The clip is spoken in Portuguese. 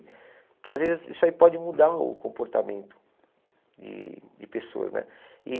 Porque às vezes isso aí pode mudar o comportamento de de pessoas, né? E